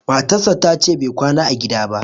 matarsa ta ce Bai kwana a gida ba